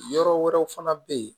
Yɔrɔ wɛrɛw fana bɛ yen